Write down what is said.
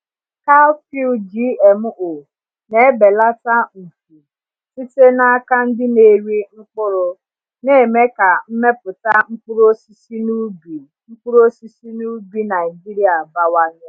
Cowpea GMO na-ebelata mfu site n’aka ndị na-eri mkpụrụ, na-eme ka mmepụta mkpụrụ osisi n’ubi mkpụrụ osisi n’ubi Naijiria bawanye.